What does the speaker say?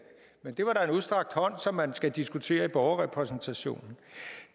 men det var da en udstrakt hånd som man skal diskutere i borgerrepræsentationen